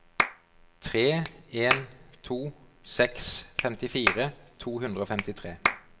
tre en to seks femtifire to hundre og femtitre